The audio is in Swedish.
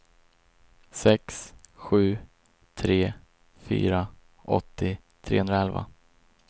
sex sju tre fyra åttio trehundraelva